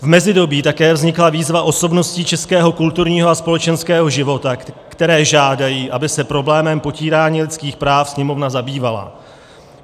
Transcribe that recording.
V mezidobí také vznikla výzva osobností českého kulturního a společenského života, které žádají, aby se problémem potírání lidských práv Sněmovna zabývala.